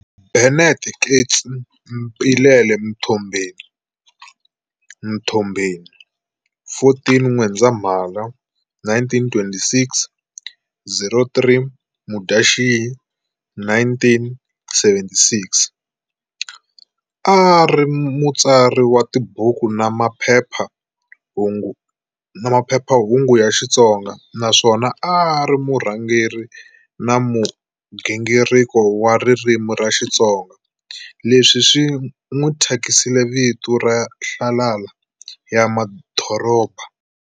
Bennet Keats Mpilele Mtombeni, Mthombheni, 14 N'wendzamhala 1926-03 Mudyaxihi 1976, A a ri mutsari wa tibuku, na maphephahungu ya Xitsonga, naswona a ari murhangeri na mugingiriko wa ririmi ra Xitsonga leswi swi n'wi thyakisile vito ra Nhlalala ya madoroba.